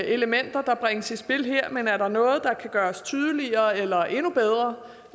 elementer der bringes i spil her men er der noget der kan gøres tydeligere eller endnu bedre